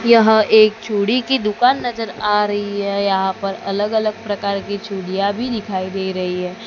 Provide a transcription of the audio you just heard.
यह एक चूड़ी की दुकान नजर आ रही है यहां पर अलग अलग प्रकार की चूड़िया भी दिखाई दे रही है।